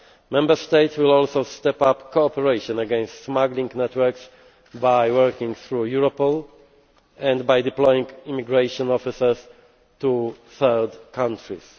Member States will also step up cooperation against smuggling networks by working through Europol and by deploying immigration officers to third countries.